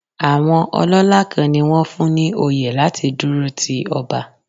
Àwọn ọlọ́lá kan ni wón fún ní oyè láti dúró ti ọba.